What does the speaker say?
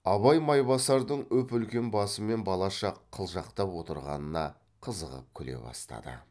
абай майбасардың үп үлкен басымен балаша қылжақтап отырғанына қызығып күле бастады